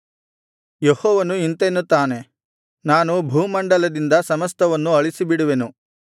ಯೆಹೋವನು ಇಂತೆನ್ನುತ್ತಾನೆ ನಾನು ಭೂಮಂಡಲದಿಂದ ಸಮಸ್ತವನ್ನು ಅಳಿಸಿಬಿಡುವೆನು